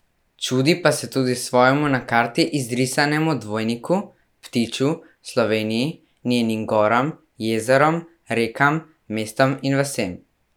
Čudi pa se tudi svojemu na karti izrisanemu dvojniku, ptiču, Sloveniji, njenim goram, jezerom, rekam, mestom in vasem.